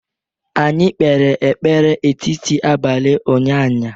anyi kpere ekpere etiti abali unyanya